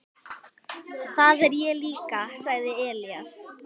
Það er ég líka, sagði Elías.